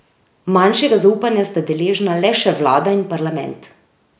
Manjšega zaupanja sta deležna le še vlada in parlament.